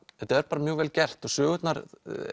þetta er bara mjög vel gert og sögurnar